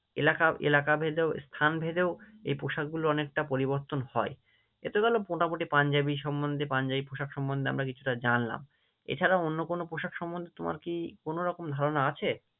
এলাকাও এলাকা ভেদেও স্থান ভেদেও এই পোশাক গুলো অনেকটা পরিবর্তন হয়, এতো গেল মোটামুটি পাঞ্জাবি সম্মন্ধে পাঞ্জাবি পোশাক সম্বন্ধে আমরা কিছুটা জানলাম, এছাড়াও অন্য কোনো পোশাক সম্মন্ধে তোমার কি কোনোরকম ধারনা আছে?